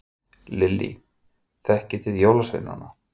Lillý: Þekkið þið jólasveinana?